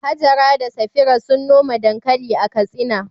Hajara da Safira sun noma dankali a Katsina.